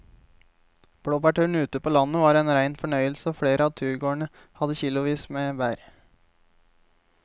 Blåbærturen ute på landet var en rein fornøyelse og flere av turgåerene hadde kilosvis med bær.